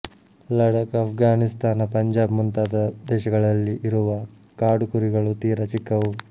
ಲಡಕ್ ಆಪ್ಘಾನಿಸ್ತಾನ ಪಂಜಾಬ್ ಮುಂತಾದ ದೇಶಗಳಲ್ಲಿ ಇರುವ ಕಾಡುಕುರಿಗಳು ತೀರ ಚಿಕ್ಕವು